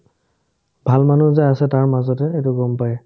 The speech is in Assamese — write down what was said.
ভাল মানুহ যে আছে তাৰ মাজতে সেইটো গম পাই